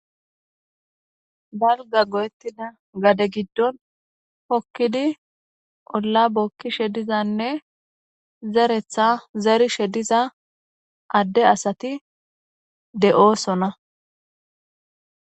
balga go7ettida gade giddon hokkidi olla bokki shedizanne zeretha zeri shediza adde asati de7oosona